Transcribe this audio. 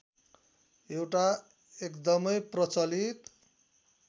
एउटा एकदमै प्रचलित